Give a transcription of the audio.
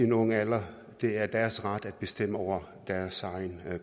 en ung alder det er deres ret at bestemme over deres egen